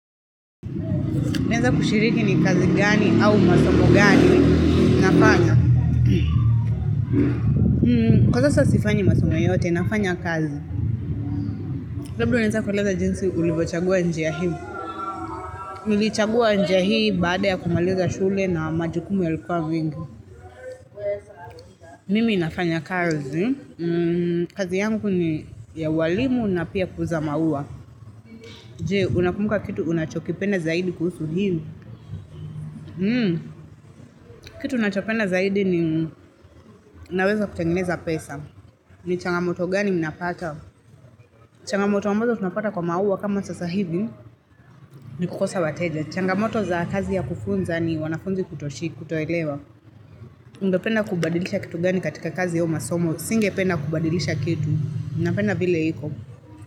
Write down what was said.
Naeza kushiriki ni kazi gani au masomo gani nafanya Kwa sasa sifanyi masomo yoyote nafanya kazi. Labda unaweza kuleza jinsi ulivyochagua njia hii Nilichagua njia hii baada ya kumaliza shule na majukumu yalikuwa vingi. Mimi nafanya kazi. Kazi yangu ni ya walimu na pia kuuza maua Je unakumbuka kitu unachokipenda zaidi kuhusu hili. Hmm, kitu nachopenda zaidi ni naweza kutengeneza pesa ni changamoto gani mnapata changamoto ambazo tunapata kwa maua kama sasa hivi ni kukosa wateja. Changamoto za kazi ya kufunza ni wanafunzi kutoshika, kutolewa. Ungependa kubadilisha kitu gani katika kazi yao masomo. Singependa kubadilisha kitu. MI napenda vile iko.